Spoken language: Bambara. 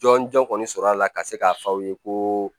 Jɔn jɔn kɔni sɔrɔ a la ka se k'a fɔ aw ye ko